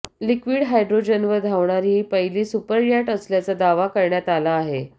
liquid हायड्रोजनवर धावणारी ही पहिली सुपरयाट असल्याचा दावा करण्यात आला आहे